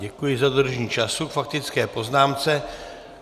Děkuji za dodržení času k faktické poznámce.